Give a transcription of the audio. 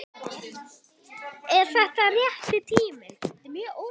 Er þetta rétti tíminn?